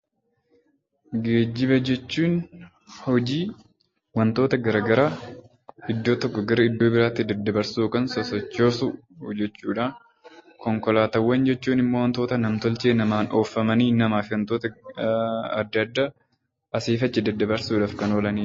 Geejjiba jechuun hojii wantoota gara garaa iddoo tokkoo gara iddoo biraatti daddabarsuu yookaan sosochoosuu jechuudha. Konkolaataawwan jechuun immoo wantoota nam-tolchee namaan oofamanii namaa fi wantoota adda addaa asiif achi daddabarsuuf kan oolanidha.